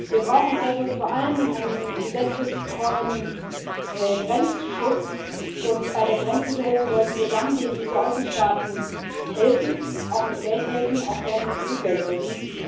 Wir brauchen also vor allem einen gesetzestreuen Grenzschutz, und bei der Grenzsicherung sollten wir dann den EU Außenstaaten helfen, auch mit Geld helfen, auch gerne mit EU Geld helfen.